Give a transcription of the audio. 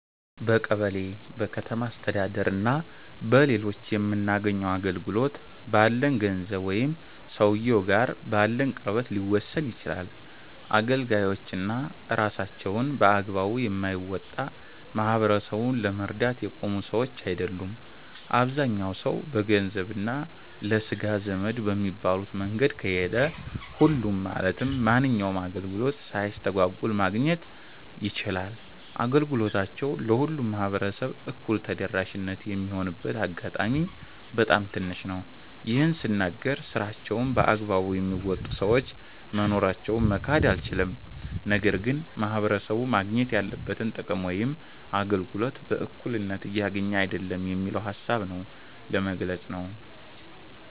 በቀበሌ፣ በከተማ አስተዳደር እና በሌሎችም የምናገኘው አገልግሎት፣ ባለን ገንዘብ ወይም ሰውየው ጋር ባለን ቅርበት ሊወሰን ይችላል። አገልጋዮች እና ስራቸውን በአግባቡ የማይወጣ፣ ማህበረሰቡን ለመርዳት የቆሙ ሰዎች አይደሉም። አብዛኛው ሰው በገንዘብ እና ለስጋ ዘመድ በሚባሉት መንገድ ከሄደ፣ ሁሉም ማለትም ማንኛውንም አገልግሎት ሳይስተጓጎል ማግኘት ይችላል። አገልግሎታቸው ለሁሉም ማህበረሰብ እኩል ተደራሽ የሚሆንበት አጋጣሚ በጣም ትንሽ ነው። ይህን ስናገር ስራቸውን በአግባቡ የሚወጡ ሰዎች መኖራቸውን መካድ አይቻልም። ነገር ግን ማህበረሰቡ ማግኘት ያለበትን ጥቅም ወይም አገልግሎት በእኩልነት እያገኘ አይደለም የሚለውን ሃሳብ ነው ለመግለፅ ነው።